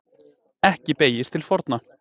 Ekki beygðist til forna: